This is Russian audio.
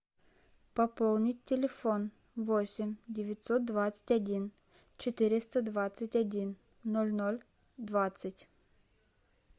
пополнить телефон восемь девятьсот двадцать один четыреста двадцать один ноль ноль двадцать